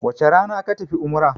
wace Rana ka tafi umara!